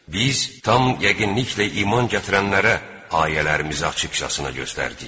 Biz tam yəqinliklə iman gətirənlərə ayələrimizi açıqcasına göstərdik.